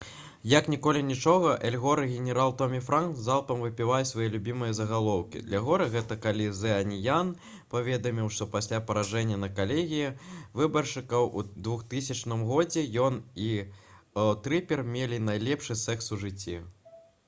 як ніколі нічога эл гор и генерал томі франкс залпам выпальваюць свае любімыя загалоўкі для гора гэта калі «зэ аніян» паведаміў што пасля паражэння на калегіі выбаршчыкаў у 2000 г. ён і трыпер мелі найлепшы секс у жыцці